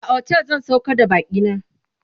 a otel zan saukar da bakina